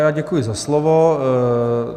Já děkuji za slovo.